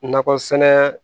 Nakɔ sɛnɛ